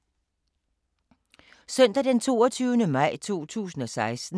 Søndag d. 22. maj 2016